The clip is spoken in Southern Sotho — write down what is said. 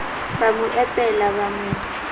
ba mo epela ba mo